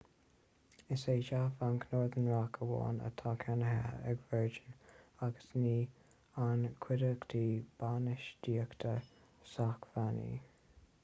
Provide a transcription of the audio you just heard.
is é dea-bhanc' northern rock amháin atá ceannaithe ag virgin agus ní an chuideachta bainistíochta sócmhainní